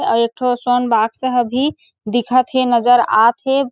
आऊ एकठो सोन बॉक्स ह भी दिखत हे नजर आत हे।